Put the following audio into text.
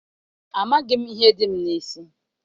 Amaghị m ihe dị m n'isi.